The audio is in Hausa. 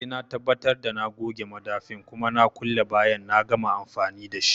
Sai na tabbatar da na goge madafin kuma na kulle bayan na gama amfani dashi